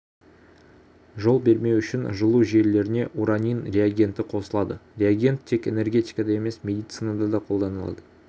жол бермеу үшін жылу желілеріне уранин реагенті қосылады реагент тек энергетикада емес медицинада да қолданылады